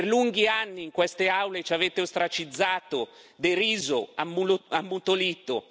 Per lunghi anni in queste aule ci avete ostracizzato, deriso, ammutolito.